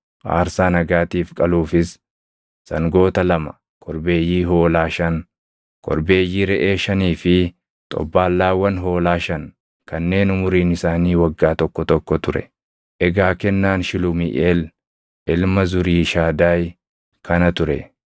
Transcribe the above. aarsaa nagaatiif qaluufis sangoota lama, korbeeyyii hoolaa shan, korbeeyyii reʼee shanii fi xobbaallaawwan hoolaa shan kanneen umuriin isaanii waggaa tokko tokko ture. Egaa kennaan Shilumiiʼeel ilma Zuriishadaayi kana ture.